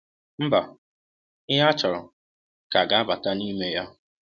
Mba, “ihe a chọrọ” ka ga-abata n’ime ya.